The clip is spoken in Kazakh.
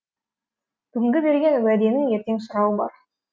бүгінгі берген уәденің ертең сұрауы бар